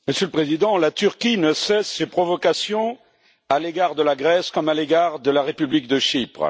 Monsieur le Président, la Turquie ne cesse ses provocations à l'égard de la Grèce comme à l'égard de la République de Chypre.